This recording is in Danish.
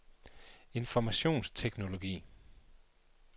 informationsteknologi